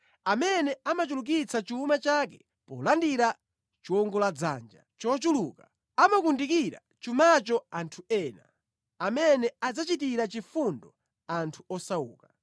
Amene amachulukitsa chuma chake polandira chiwongoladzanja chochuluka amakundikira chumacho anthu ena, amene adzachitira chifundo anthu osauka.